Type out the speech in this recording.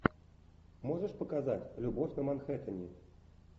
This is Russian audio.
можешь показать любовь на манхэттене